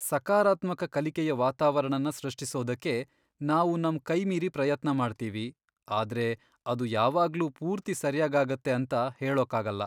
ಸಕಾರಾತ್ಮಕ ಕಲಿಕೆಯ ವಾತಾವರಣನ ಸೃಷ್ಟಿಸೋದಕ್ಕೆ ನಾವು ನಮ್ ಕೈಮೀರಿ ಪ್ರಯತ್ನ ಮಾಡ್ತೀವಿ, ಆದ್ರೆ ಅದು ಯಾವಾಗ್ಲೂ ಪೂರ್ತಿ ಸರ್ಯಾಗಾಗತ್ತೆ ಅಂತ ಹೇಳೋಕಾಗಲ್ಲ.